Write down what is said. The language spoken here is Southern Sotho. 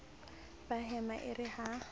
ba hema e re ha